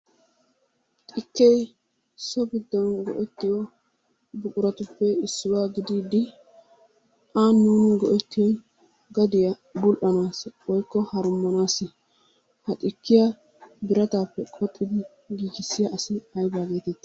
Xikkee so giddon go'ettiyo buquratuppe issuwa gididi a nuuni go'ettiyoy gadiya bul"anaassi woykko harummsnaassi ha xikkiya biratappe qoxxidi giggissiya asi ayba getetti?